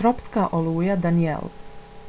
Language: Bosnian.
tropska oluja danielle